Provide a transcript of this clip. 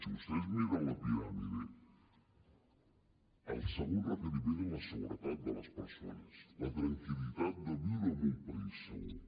si vostès es miren la piràmide el segon requeriment és la seguretat de les persones la tranquil·litat de viure en un país segur